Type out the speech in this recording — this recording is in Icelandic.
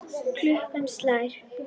Klukkan slær.